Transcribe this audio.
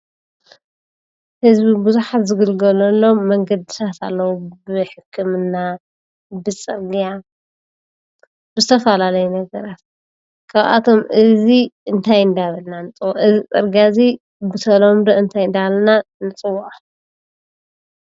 ህዝቢ ብዝሓት ዝግልገለሎም መንገድታት ኣለዉ:: ብሕክምና፣ ብፅርግያ ብዝተፈላለዩ ነገራት እዚ ፅርግያ እዙይ ብተምዶ እንታይ እንዳበልና ንፅውዖ?